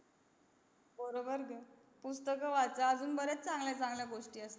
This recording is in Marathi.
बरोबर बोली पुस्तक वाचा आणि बरेच चांगल्या चांगल्या गोष्टी आहेत